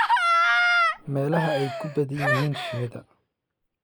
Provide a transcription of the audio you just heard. meelaha ay ku badan yihiin shinnida